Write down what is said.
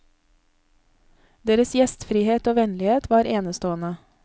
Deres gjestfrihet og vennlighet var enestående.